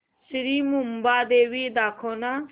श्री मुंबादेवी दाखव ना